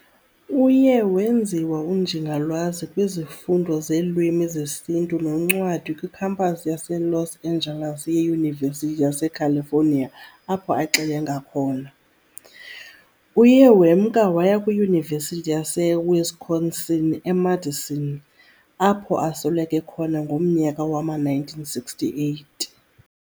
Uye wenziwa uNjingalwazi kwizifundo zeeLwimi zeSintu noNcwadi kwiKhampasi yaseLos Angeles ye-Yunivesity yaseCalifonia apho axelengele khona. Uye wemka waya kwiYunivesithi yaseWisconsin eMadison, apho asweleke khona ngomnyaka wama-1968.